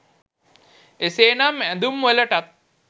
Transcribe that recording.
එසේ නම් ඇඳුම්වලටත්